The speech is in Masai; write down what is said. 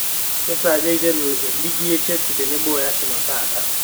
kesaaja eiteru e league e chelsea tenebo o Arsenal taata